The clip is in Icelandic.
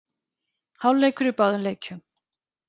Hálfleikur í báðum leikjum